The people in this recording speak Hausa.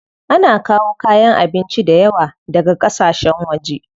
Ana kawo kayan abinci dayawa daga ƙasashen waje.